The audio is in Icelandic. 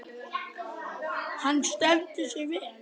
Hann stendur sig vel.